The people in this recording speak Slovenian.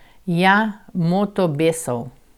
Ja, moto Besov.